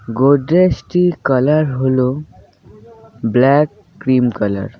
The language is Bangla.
গোদরেজটি কালার হল ব্ল্যাক ক্রিম কালার ।